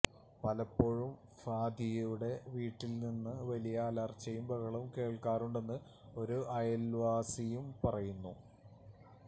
പലപ്പോഴും ഹാദിയയുടെ വീട്ടില് നിന്ന് വലിയ അലര്ച്ചയും ബഹളവും കേള്ക്കാറുണ്ടെന്ന് ഒരു അയല്വാസിയും പറയുന്നു